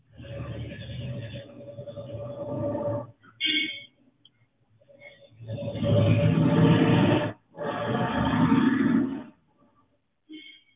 okay